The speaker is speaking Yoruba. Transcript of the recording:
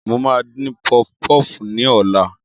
Mo máa dín pọfpọf ní ọ̀la